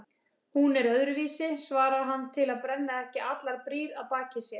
Hún er öðruvísi, svarar hann til að brenna ekki allar brýr að baki sér.